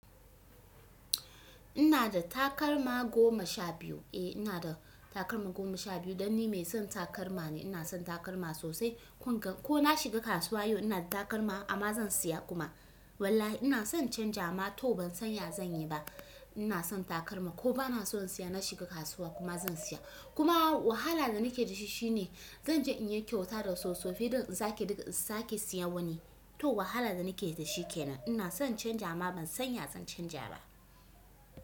Ina da takalma goma sha biyu. Eh ina da takalma goma sha biyu dan ni mai son takalma ne. Ina son takalma sosai. Ko na shiga kasuwa yau ina da takalma amma zan siya kuma. Wallahi ina son canji amma to ban sanya zan yi ba. Ina son takalma ko ba na so in siya na shiga kasuwa kuma zan siya. Kuma wahala da nake da shi shine zan je in yi kyauta da soso fi din in sake dik in sake siya wani. To wahala da nake da shi kenan. Ina son canja amma ban sanya zan canja ba.